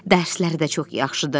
Dərsləri də çox yaxşıdır.